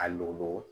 A lɔgɔ